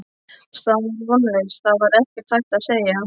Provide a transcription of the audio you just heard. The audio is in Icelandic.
Staðan var vonlaus, það var ekkert hægt að segja.